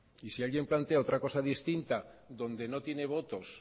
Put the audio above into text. y si alguien plantea otra cosa distinta donde no tiene votos